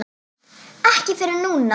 Ekki fyrr en núna.